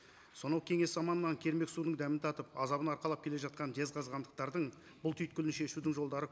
сонау кеңес заманынан кермек судың дәмін татып азабын арқалап келе жатқан жезқазғандықтардың бұл түйткіні шешудің жолдары